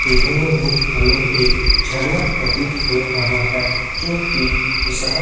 देखने में हमें एक झरना प्रतीत हो रहा है जो कि विशाल--